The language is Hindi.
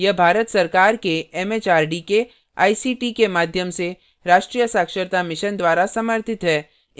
यह भारत सरकार के एमएचआरडी के आईसीटी के माध्यम से राष्ट्रीय साक्षरता mission द्वारा समर्थित है